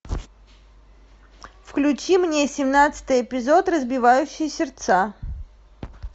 включи мне семнадцатый эпизод разбивающий сердца